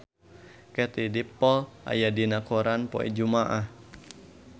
Katie Dippold aya dina koran poe Jumaah